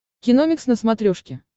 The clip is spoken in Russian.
киномикс на смотрешке